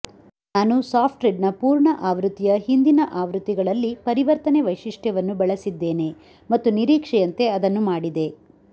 ನಾನು ಸಾಫ್ಟ್ಟ್ರಿಡ್ನ ಪೂರ್ಣ ಆವೃತ್ತಿಯ ಹಿಂದಿನ ಆವೃತ್ತಿಗಳಲ್ಲಿ ಪರಿವರ್ತನೆ ವೈಶಿಷ್ಟ್ಯವನ್ನು ಬಳಸಿದ್ದೇನೆ ಮತ್ತು ನಿರೀಕ್ಷೆಯಂತೆ ಅದನ್ನು ಮಾಡಿದೆ